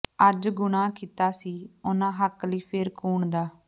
ਅਜ ਗੁਨ੍ਹਾਂ ਕੀਤਾ ਸੀ ਉਹਨਾਂ ਹਕ ਲਈ ਫਿਰ ਕੂਣ ਦਾ